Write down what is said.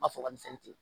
N b'a fɔ kamisɛn ten